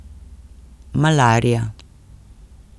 Malarija.